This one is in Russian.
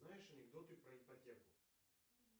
знаешь анекдоты про ипотеку